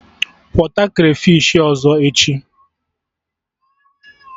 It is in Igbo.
Kwọta krafish ọzọ echi!